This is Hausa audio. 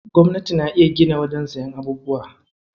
Gwamnati na iya gina wajen siyan abubuwa.